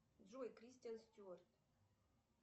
джой кристиан стюарт